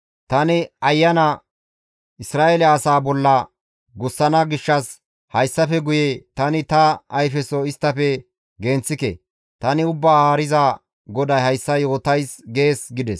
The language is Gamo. Tani Ayana Isra7eele asaa bolla gussana gishshas hayssafe guye tani ta ayfeso isttafe genththike. Tani Ubbaa Haariza GODAY hayssa yootays› gees» gides.